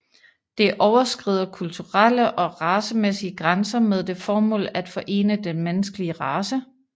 Det overskrider kulturelle og racemæssige grænser med det formål at forene den menneskelige race